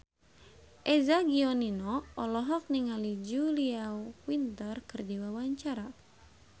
Eza Gionino olohok ningali Julia Winter keur diwawancara